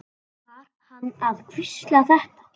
Var hann að hvísla þetta?